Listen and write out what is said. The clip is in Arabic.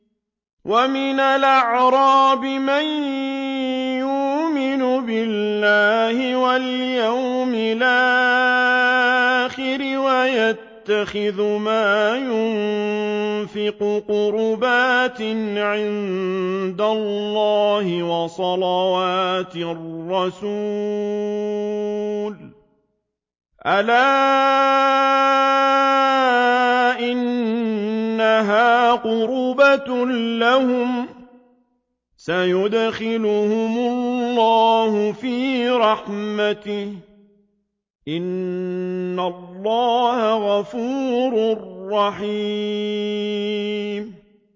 وَمِنَ الْأَعْرَابِ مَن يُؤْمِنُ بِاللَّهِ وَالْيَوْمِ الْآخِرِ وَيَتَّخِذُ مَا يُنفِقُ قُرُبَاتٍ عِندَ اللَّهِ وَصَلَوَاتِ الرَّسُولِ ۚ أَلَا إِنَّهَا قُرْبَةٌ لَّهُمْ ۚ سَيُدْخِلُهُمُ اللَّهُ فِي رَحْمَتِهِ ۗ إِنَّ اللَّهَ غَفُورٌ رَّحِيمٌ